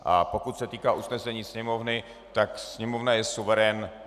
A pokud se týká usnesení Sněmovny, tak Sněmovna je suverén.